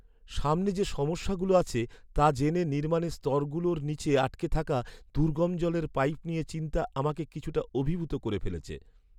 সামনে যে সমস্যাগুলো আছে, তা জেনে নির্মাণের স্তরগুলোর নিচে আটকে থাকা দুর্গম জলের পাইপ নিয়ে চিন্তা আমাকে কিছুটা অভিভূত করে ফেলছে।